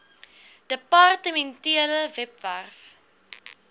depar tementele webwerf